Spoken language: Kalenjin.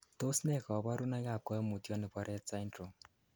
Tos nee koborunoikab koimutioni bo Rett syndrome?